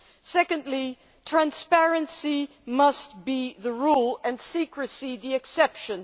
Secondly, transparency must be the rule and secrecy the exception.